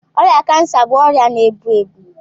Ọrịa cancer bụ ọrịa na-egbu egbu.